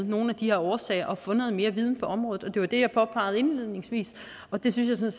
nogle af de årsager for at få noget mere viden på området det var det jeg påpegede indledningsvis og det synes jeg